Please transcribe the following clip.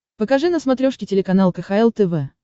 покажи на смотрешке телеканал кхл тв